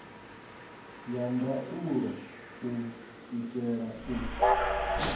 ya ndaulo u itela u